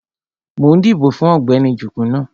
Mo ń dìbò fún Ọ̀gbẹ́ni Jugunu